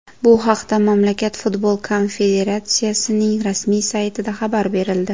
Bu haqda mamlakat futbol konfederatsiyasining rasmiy saytida xabar berildi .